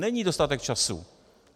Není dostatek času.